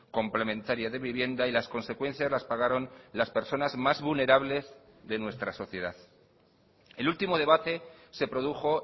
complementaria de vivienda y las consecuencias las pagaron las personas más vulnerables de nuestra sociedad el último debate se produjo